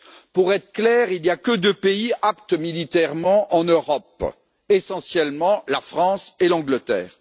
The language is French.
Pour être clair, il n'y a que deux pays aptes militairement en Europe, essentiellement la France et l'Angleterre.